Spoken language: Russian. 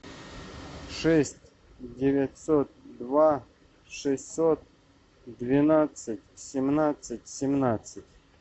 шесть девятьсот два шестьсот двенадцать семнадцать семнадцать